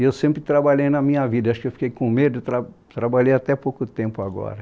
E eu sempre trabalhei na minha vida, acho que eu fiquei com medo, trab trabalhei até pouco tempo agora.